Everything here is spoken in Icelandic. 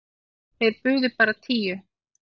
Þeir buðu bara tíu.